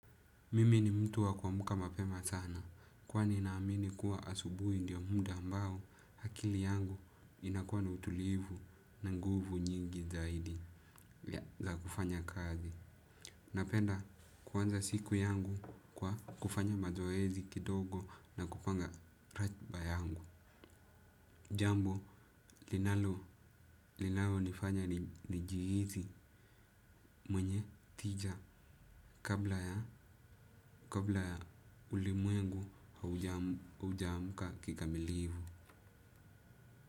Mimi ni mtu wa kuamka mapema sana, kwani naamini kuwa asubuhi ndiyo muda ambao akili yangu inakuwa na utulivu na nguvu nyingi zaidi. Za kufanya kazi. Napenda kuanza siku yangu kwa kufanya mazoezi kidogo na kupanga ratiba yangu. Jambo linalo nifanya nijihisi mwenye tija kabla ya ulimwengu haujaamka kikamilifu.